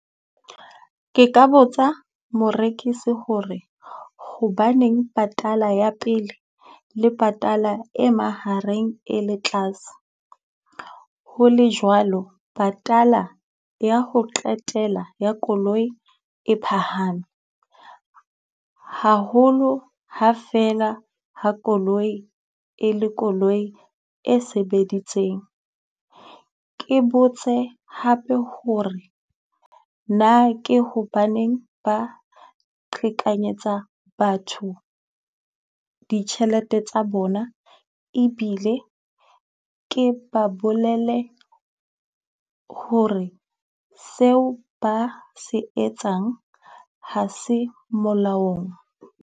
Ke ka botsa morekisi hore hobaneng patala ya pele le patala e mahareng e le tlase? Ho le jwalo, patala ya ho qetela ya koloi e phahame. Haholo ha feela ha koloi e le koloi e sebeditseng. Ke botse hape hore na ke hobaneng ba qhekanyetsa batho ditjhelete tsa bona? Ebile ke ba bolele hore seo ba se etsang ha se molaong.